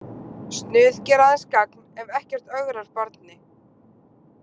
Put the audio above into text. Snuð gera aðeins gagn ef ekkert ögrar barni.